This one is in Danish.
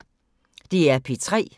DR P3